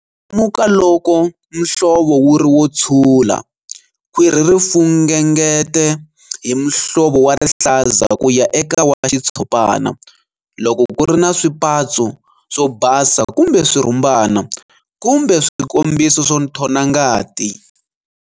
Lemuka loko muhlovo wu ri wo tshula, khwiri ri fungengete hi muhlovo wa rihlaza ku ya eka wa xitshopana, loko ku ri na swipatso swo basa kumbe swirhumbana, kumbe swikombiso swo nthona ngati.